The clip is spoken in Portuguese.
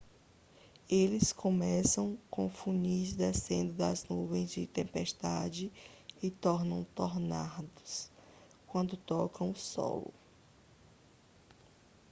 eles começam como funis descendo das nuvens de tempestades e tornam tornados quando tocam o solo